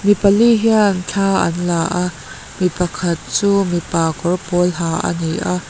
mi pali hian thla an la a mi pakhat chu mipa kawr pawl ha a ni a.